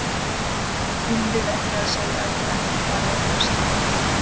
Eigum við ekki að segja að við ætlum að fara í eitthvað slíkt?